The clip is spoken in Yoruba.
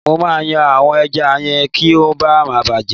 Mo máa yan àwọn ẹja yẹn kí ó má ba à bàjẹ́.